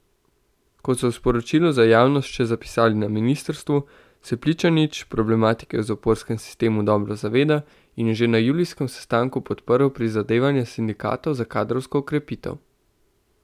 Kot so v sporočilu za javnost še zapisali na ministrstvu, se Pličanič problematike v zaporskem sistemu dobro zaveda in je že na julijskem sestanku podprl prizadevanja sindikatov za kadrovsko okrepitev.